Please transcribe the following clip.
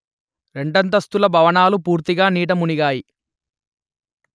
రెండస్తుల భవనాలు పూర్తిగా నీట మునిగాయి